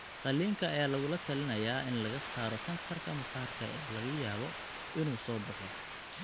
Qalliinka ayaa lagula talinayaa in laga saaro kansarka maqaarka ee laga yaabo inuu soo baxo.